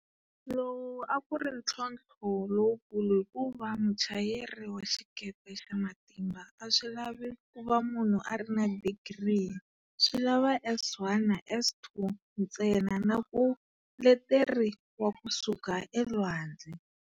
Lowu a ku ri ntlhontlho lowukulu hikuva muchayeri wa xikepe xa matimba a swi lavi ku va munhu a ri na digiri, swi lava S1 na S2 ntsena na ku leteri wa kusuka elwandle.